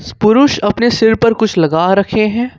पुरुष अपने सिर पे कुछ लगा रखे हैं।